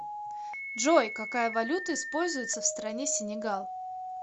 джой какая валюта используется в стране сенегал